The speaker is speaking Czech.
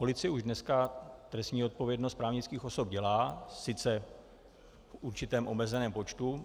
Policie už dneska trestní odpovědnost právnických osob dělá, sice v určitém omezeném počtu.